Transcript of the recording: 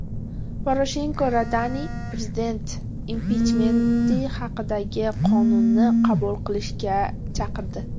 Poroshenko Radani prezident impichmenti haqidagi qonunni qabul qilishga chaqirdi.